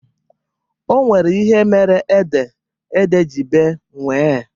Onwere ihe mere ede, ede ji bee nwie